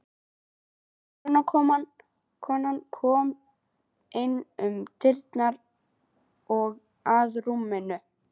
Hjúkrunarkona kom inn um dyrnar og að rúminu.